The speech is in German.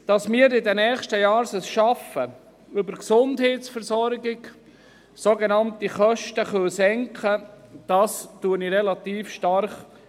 Dass wir es in den nächsten Jahren schaffen, über die Gesundheitsversorgung die Kosten zu senken, bezweifle ich recht stark.